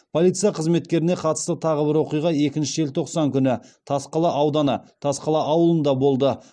полиция қызметкеріне қатысты тағы бір оқиға екінші желтоқсан күні тасқала ауданы тасқала ауылында болды